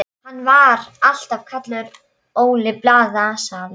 Hann var alltaf kallaður Óli blaðasali.